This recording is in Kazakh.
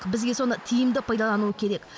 бізге соны тиімді пайдалану керек